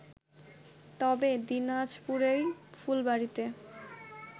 তবে দিনাজপুরেই ফুলবাড়িতে